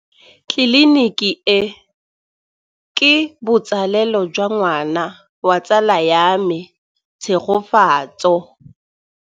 Tleliniki e, ke botsalêlô jwa ngwana wa tsala ya me Tshegofatso.